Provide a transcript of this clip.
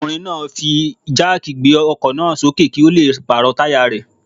Ọkùnrin náà fi jáàkì gbé ọkọ̀ náà sókè kí ó le pàrọ̀ táyà rẹ̀.